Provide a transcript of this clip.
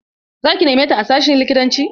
Za ki neme ta a sashin likitanci?